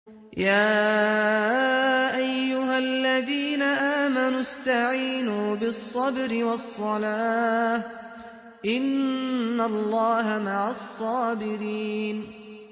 يَا أَيُّهَا الَّذِينَ آمَنُوا اسْتَعِينُوا بِالصَّبْرِ وَالصَّلَاةِ ۚ إِنَّ اللَّهَ مَعَ الصَّابِرِينَ